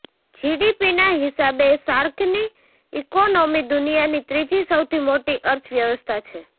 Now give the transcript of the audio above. જીડીપીના હિસાબે સાર્કની ઈકોનોમી દુનિયાની ત્રીજી સૌથી મોટી અર્થવ્યવસ્થા છે